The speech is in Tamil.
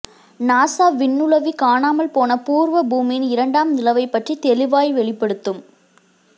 நாசா விண்ணுளவி காணாமல் போன பூர்வ பூமியின் இரண்டாம் நிலவைப் பற்றித் தெளிவாய் வெளிப்படுத்தும்